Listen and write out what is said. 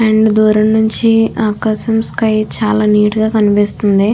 And దూరం నుంచి ఆకాశం స్కై చాల నీటు గా కనిపిస్తుంది.